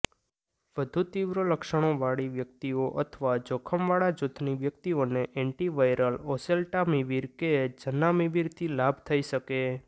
વધુ તીવ્ર લક્ષણોવાળી વ્યકિતઓ અથવા જોખમવાળાં જૂથની વ્યકિતઓને એન્ટિવાયરલ ઓસેલ્ટામિવિર કે ઝનામિવિરથી લાભ થઈ શકે